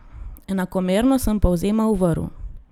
Enakomerno sem povzemal vrv.